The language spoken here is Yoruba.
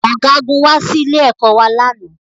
Ọ̀gágun wá sí ilé-ẹ̀kọ́ wa lánàá